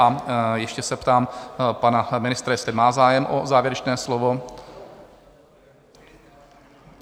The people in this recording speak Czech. A ještě se ptám pana ministra, jestli má zájem o závěrečné slovo?